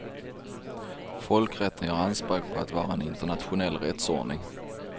Folkrätten gör anspråk på att vara en internationell rättsordning.